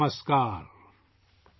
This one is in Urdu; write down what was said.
نمسکار !